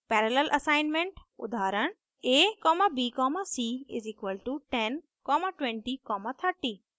parallel assignment उदाहरण: abc=102030